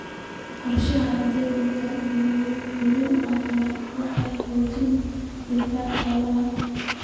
Qorshaynta jadwal daryeel caafimaad waxay xoojisaa difaaca xoolaha.